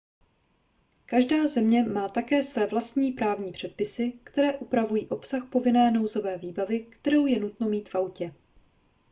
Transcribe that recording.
každá země má také své vlastní právní předpisy které upravují obsah povinné nouzové výbavy kterou je nutno mít v autě